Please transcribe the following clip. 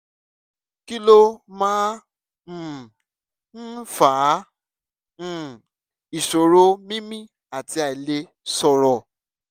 kí ló máa um ń fa um ìṣòro mímí àti àìlè sọ̀rọ̀